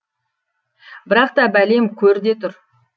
бірақ та бәлем көр де тұр